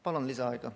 Palun lisaaega!